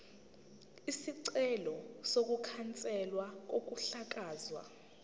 isicelo sokukhanselwa kokuhlakazwa